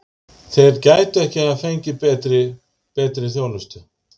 Þeir gætu ekki hafa fengið betri. betri þjónustu.